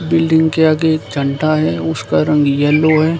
Building के आगे एक चंटा है उसका रंग येलो है।